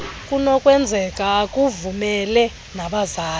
kunokwenzeka akuvumele nabazali